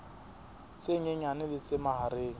tse nyenyane le tse mahareng